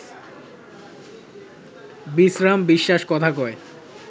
বিশ্রাম বিশ্বাস কথা কয়